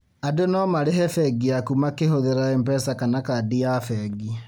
Andũ no marĩhe bengi yaku makĩhũthĩra MPESA kana kandi ya bengi